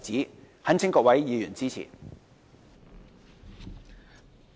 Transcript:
我懇請各位議員支持。